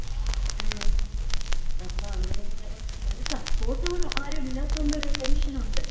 മ്മ്. അപ്പോ അങ്ങനെയാണ്. ഒരു സപ്പോർട്ട് ഉള്ള ആരും ഇല്ലാത്തോണ്ട് ഒരു ടെൻഷനൊണ്ട്.